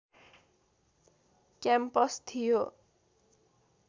campus थियो